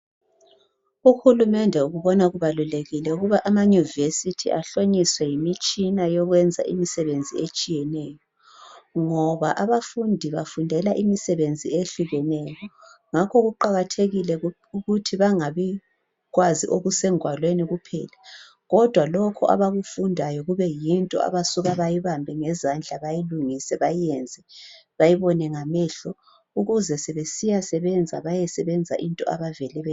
Uhulumende ukubona kubalulekile ukuba ama- nyuvesithi, ahlonyiswe yimitshina yokwenza imisebenzi etshiyeneyo, ngoba abafundi bafundela imisebenzi ehlukeneyo. Ngakho kuqakathekile ukuthi bangabikwazi okusengwalweni kuphela, kodwa lokho abakufundayo, kube yinto abasuka bayibambe ngezandla. Bayilungise, bayenze. Bayibone ngamehlo. Ukuze sebesiyasebenza, bayesebenza into abavele beyazi.